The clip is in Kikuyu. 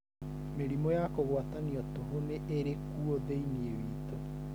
Mĩrimũ ya kũgwatanio tũhũ nĩ ĩrĩ kuo thĩinĩ witũ.